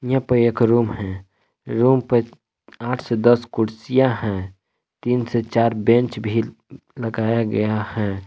इया पे एक रूम हैं रूम पे आठ से दस कुर्सियां हैं तीन से चार बेंच भी लगाया गया हैं।